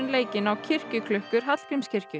leikinn á kirkjuklukkur Hallgrímskirkju